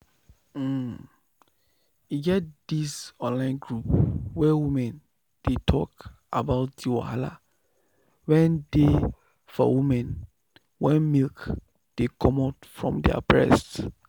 um e get this online group where woman dey talk about the wahala wen dey for women wen milk dey comot from their breast.